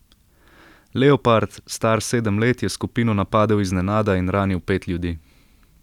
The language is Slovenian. Leopard, star sedem let, je skupino napadel iznenada in ranil pet ljudi.